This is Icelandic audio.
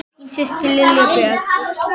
Þín systir, Linda Björk.